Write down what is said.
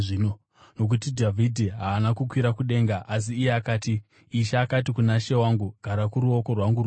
Nokuti Dhavhidhi haana kukwira kudenga, asi iye akati: “ ‘Ishe akati kuna She wangu: “Gara kuruoko rwangu rworudyi